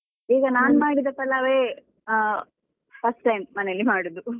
ಈಗ ನಾನ್ ಮಾಡಿದ ಪಲಾವೇ ಆ first time ಮನೆಯಲ್ಲಿ ಮಾಡುದು.